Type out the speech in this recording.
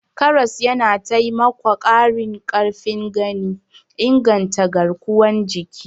Karas yana taimakwa ƙarin ƙarfin gani, inganta garkuwar jiki.